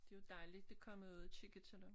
Det jo dejligt der kom jeg ud og kigge til dem